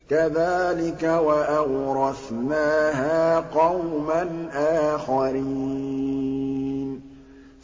كَذَٰلِكَ ۖ وَأَوْرَثْنَاهَا قَوْمًا آخَرِينَ